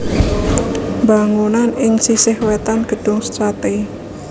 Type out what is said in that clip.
Bangunanan ing sisih wètan Gedung Sate